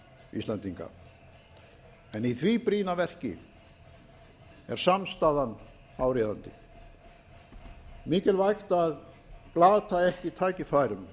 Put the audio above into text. íslendinga en í því brýna verki er samstaðan áríðandi mikilvægt að glata ekki tækifærum